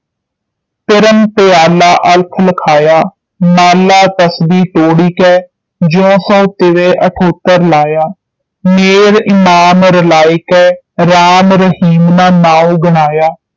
ਪਿਰਮੁ ਪਿਆਲਾ ਅਲਖੁ ਲਖਾਇਆ ਮਾਲਾ ਤਸਬੀ ਤੋੜਿਕੈ ਜਿਉਂ ਸਵੈ ਤਿਵੈ ਅਨੰਤਰੁ ਲਾਇਆ ਮੋਹੁ ਇਮਾਮ ਚਲਾਇਕੋ ਰਾਮ ਰਹੀਮ ਨ ਨਾਉ ਗਵਾਇਆ